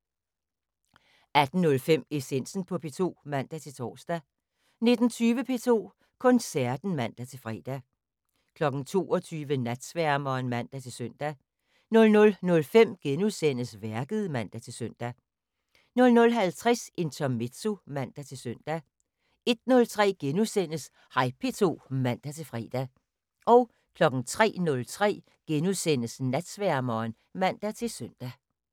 18:05: Essensen på P2 (man-tor) 19:20: P2 Koncerten (man-fre) 22:00: Natsværmeren (man-søn) 00:05: Værket *(man-søn) 00:50: Intermezzo (man-søn) 01:03: Hej P2 *(man-fre) 03:03: Natsværmeren *(man-søn)